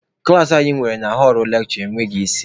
Klaasị anyị nwere na họlụ lekshure enweghị isi.